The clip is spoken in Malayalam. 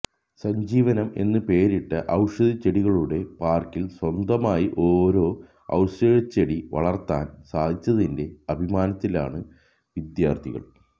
സഞ്ജീവനം എന്ന് പേരിട്ട ഔഷധച്ചെടികളുടെ പാർക്കിൽ സ്വന്തമായി ഓരോ ഔഷധച്ചെടി വളർത്താൻ സാധിച്ചതിന്റെ അഭിമാനത്തിലാണ് വിദ്യാർഥികൾ